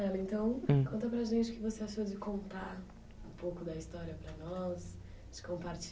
hum, então, conta para gente o que você achou de contar um pouco da história para nós, de